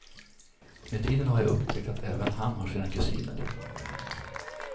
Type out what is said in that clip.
Med tiden har jag upptäckt att även han har sina kusiner.